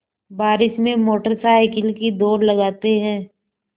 बारिश में motorcycle की दौड़ लगाते हैं